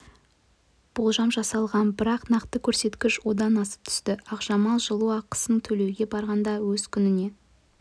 болжам жасалған бірақ нақты көрсеткіш одан асып түсті ақжамал жылу ақысын төлеуге барғанда өз көзіне